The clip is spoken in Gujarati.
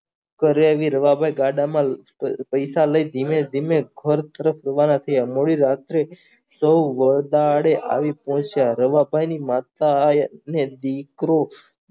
રવા ભઈ ગાડામાં પૈસા લઇ ધીમે ધીમે ઘર તરફ રવાના થયા વડી રાત્રે સૌ વદાડે આવી રવા ભાઈની માતા એ દીકરો